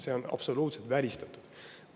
See on absoluutselt välistatud.